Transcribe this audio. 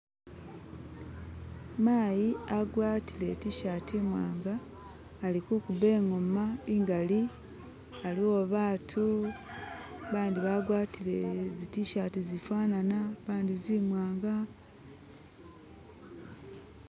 Mayi agwatile i t-shati i',mwanga ali kuguba i'ngoma i'ngali aliwo batu, bandi bagwatile zi t-shati zi fanana, bandi zimwanga